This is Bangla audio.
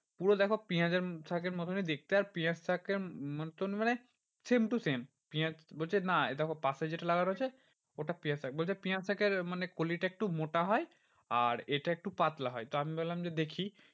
পুরো দেখো পিঁয়াজের শাকের মতনই দেখতে আর পিঁয়াজ শাকের মতন মানে same to same পিঁয়াজ। বলছে না পাশে যেটা লাগানো রয়েছে ওটা পিঁয়াজ শাক বলছে পিঁয়াজ শাকের মানে কলিটা একটু মোটা হয় আর এটা একটু পাতলা হয়। তো আমি বললাম যে দেখি